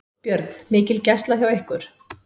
Björn: Mikil gæsla hjá ykkur?